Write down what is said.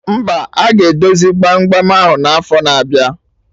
Mba, aga edozi gbam gbam ahụ n'afo na-abịa